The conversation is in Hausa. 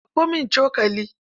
Ɗauko min cokali.